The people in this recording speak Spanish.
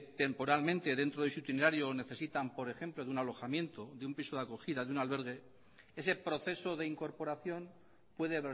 temporalmente dentro de su itinerario necesitan por ejemplo de un alojamiento de un piso de acogida de un albergue ese proceso de incorporación puede